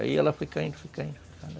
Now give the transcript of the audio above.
Aí ela foi caindo, foi caindo, foi caindo.